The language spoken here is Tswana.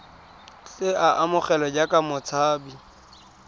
tle a amogelwe jaaka motshabi